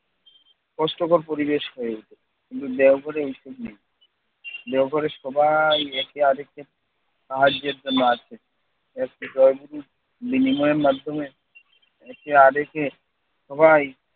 কষ্টকর পরিবেশ হয়ে উঠে। কিন্তু দেওঘরে এইসব নেই। দেওঘরে সবাই একে আরেককে সাহায্যের জন্য আসে। বিনিময়ের মাধ্যমে একে আরেকে সবাই